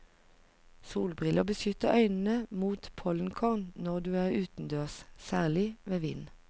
Solbriller beskytter øynene mot pollenkorn når du er utendørs, særlig ved vind.